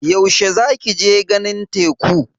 Yaushe za ki je ganin teku?